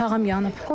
Bir otağım yanıb.